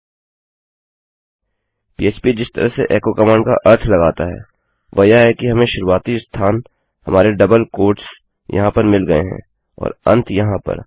PHP जिस तरह से echoएको कमांड का अर्थ लगाता है वह यह है कि हमें शुरुआती स्थान हमारे डबल उद्धरण चिन्ह यहाँ पर मिल गये हैं और अंत यहाँ पर